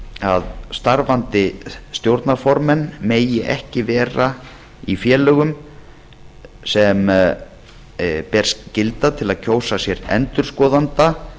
að starfandi stjórnarformenn megi ekki vera í félögum sem ber skylda til að kjósa sér endurskoðanda